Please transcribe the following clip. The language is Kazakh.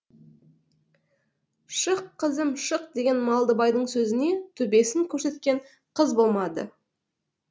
шық қызым шық деген малдыбайдың сөзіне төбесін көрсеткен қыз болмады